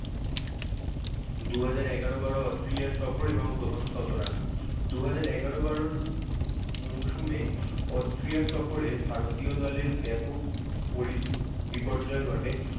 দুহাজার এগারো বারো অস্ট্রেলিয়ার সফর এবং প্রথম শত run দুহাজার এগারো বারোর মৌসুমে অস্ট্রিয়ার সফরে ভারতীয় দলের ব্যাপক পড়ি~ বিপর্যয় ঘটে